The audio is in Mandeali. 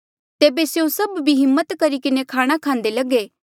तेबे स्यों सभ भी हिम्मत करी किन्हें खाणा खांदे लगे